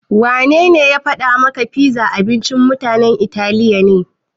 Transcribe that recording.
Wanene ya faɗa maka pizza abincin mutanen Italiya ne?